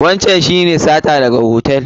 Wancan shi ne sata daga hotel?